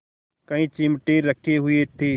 कई चिमटे रखे हुए थे